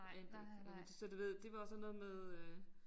Jeg anede det ikke og nu så du ved det var jo sådan noget med øh